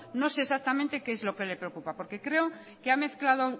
no sé exactamente qué es lo que le preocupa porque creo que ha mezclado